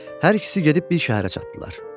Hər ikisi gedib bir şəhərə çatdılar.